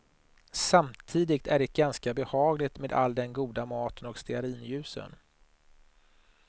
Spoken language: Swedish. Samtidigt är det ganska behagligt med all den goda maten och stearinljusen.